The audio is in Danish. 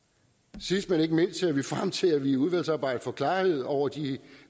sidst men ikke mindst ser vi frem til at vi i udvalgsarbejdet får klarhed over de